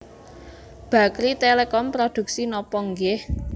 Bakrie Telecom produksi nopo nggih